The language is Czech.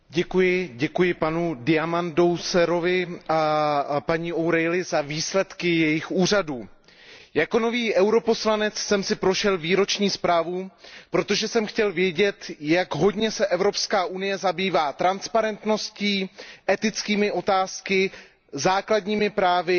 Pane předsedající, děkuji panu Diamandourosovi a paní O'Reillyové za výsledky jejich úřadů. Jako nový europoslanec jsem si prošel výroční zprávu, protože jsem chtěl vědět, jak hodně se Evropská unie zabývá transparentností, etickými otázkami, základními právy